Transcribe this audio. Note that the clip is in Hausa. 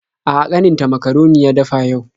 A'a, ƙaninta makaroni ya dafa yau.